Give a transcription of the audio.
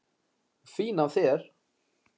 Fín af þér.